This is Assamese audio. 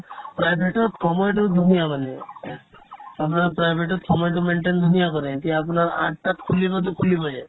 private তত সময়তো ধুনীয়া মানে আপোনাৰ private তত সময়তো maintain ধুনীয়া কৰে এতিয়া আপোনাৰ আঠটাত খুলিবতো খুলিবয়ে